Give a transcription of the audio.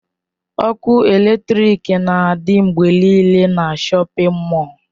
Ọkụ eletrik na-adị mgbe niile na shọpin mọll.